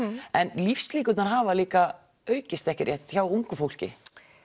en lífslíkurnar hafa líka aukist ekki rétt hjá ungu fólki